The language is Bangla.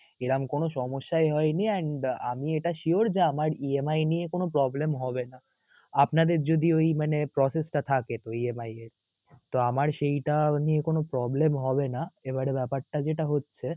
এরম কোনো সমস্যাই হয়নি and আমি এটা sure যে আমার EMI নিয়ে কোনো problem হবে না. আপনাদের যদি ওই মানে process টা থাকে ওই EMI এর তো আমার সেইটা নিয়ে কোনো problem হবে না এবারে ব্যাপারটা যেটা হচ্ছে